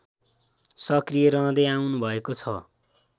सक्रिय रहँदै आउनुभएको छ